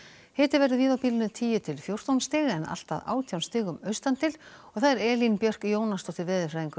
hiti verður víða á bilinu tíu til fjórtán stig en allt að átján stigum austan til Elín Björk Jónasdóttir veðurfræðingur